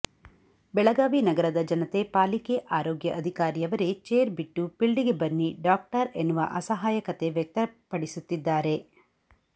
ಬೆಳಗಾವಿ ನಗರದ ಜನತೆ ಪಾಲಿಕೆ ಆರೋಗ್ಯ ಅಧಿಕಾರಿಯವರೇ ಚೇರ್ ಬಿಟ್ಟು ಪಿಲ್ಡಿಗೆ ಬನ್ನಿ ಡಾಕ್ವರ್ ಎನ್ನುವ ಅಸಾಯಕತೆ ವ್ಯಕ್ತಪಡಿಸುತ್ತಿದ್ದಾರೆ